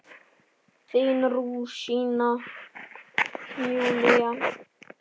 Þín rúsína, Júlía.